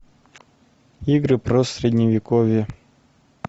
игры про средневековье